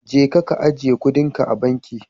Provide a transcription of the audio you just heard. Jeka ka ajiye kuɗinka a banki.